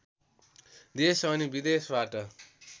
देश अनि विदेशबाट